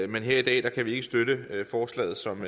men her i dag kan vi ikke støtte forslaget som